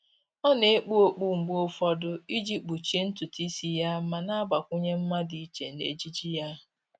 Ọ́ nà-ekpu okpu mgbe ụfọdụ iji kpuchie ntụtụ ísí yá ma nà-àgbakwụnye mma dị iche n'ejiji yá.